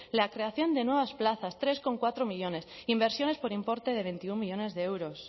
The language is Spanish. la creación de nuevas plazas tres coma cuatro millónes inversiones por importe de veintiuno millónes de euros